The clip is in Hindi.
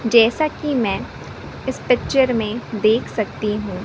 जैसा कि मैं इस पिक्चर में देख सकती हूं।